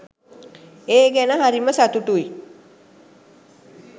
ඒ ගැන හරිම සතුටුයි.